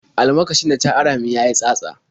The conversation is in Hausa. Almakashin da ta ara min ya yi tsatsa.